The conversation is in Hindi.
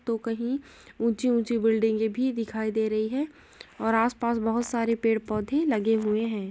तो कही ऊंची ऊंची बिल्डिंगें भी दिखाई दे रही है और आस पास बहुत सारे पेड़ पौधे लगे हुए हैं।